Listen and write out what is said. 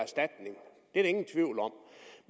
ingen tvivl om